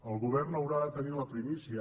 el govern haurà de tenir la primícia